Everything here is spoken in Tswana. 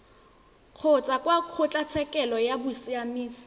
kgotsa kwa kgotlatshekelo ya bosiamisi